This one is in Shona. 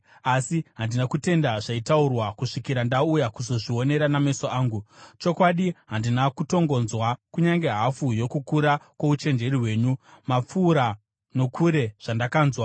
Asi handina kutenda zvaitaurwa kusvikira ndauya kuzozvionera nameso angu. Chokwadi, handina kutongonzwa kunyange hafu yokukura kwouchenjeri hwenyu, mapfuura nokure zvandakanzwa.